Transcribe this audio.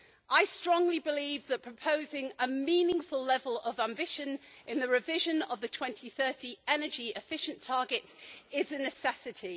I strongly believe that proposing a meaningful level of ambition in the revision of the 2030 energy efficiency targets is a necessity.